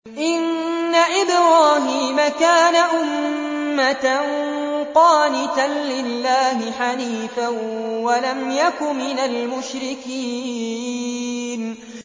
إِنَّ إِبْرَاهِيمَ كَانَ أُمَّةً قَانِتًا لِّلَّهِ حَنِيفًا وَلَمْ يَكُ مِنَ الْمُشْرِكِينَ